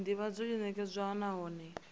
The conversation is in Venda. uri ndivhadzo yo nekedzwa nahone